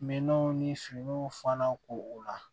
Minanw ni finiw fana ko o la